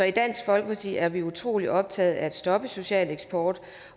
i dansk folkeparti er vi utrolig optaget af at stoppe social eksport